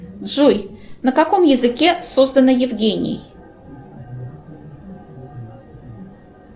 джой на каком языке создана евгений